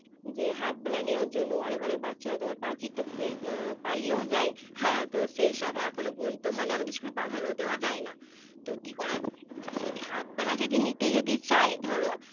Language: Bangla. যে Half বেলা নেওয়ার জন্য অনেক অনেক বাচ্চারা তোমার পাঁচিল টপকে তোমার পালিয়েও যায় হ্যাঁ তো সেইসব এখনো পর্যন্ত মানে আমাদের School এ প্রাধান্য দেওয়া যায় না তো কি করা কেউ যদি Half বেলা যদি নিতে যদি চায় ধরো